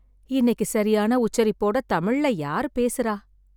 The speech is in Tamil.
இன்னைக்கு சரியான உச்சரிப்போட தமிழ்ல யார் பேசுறா?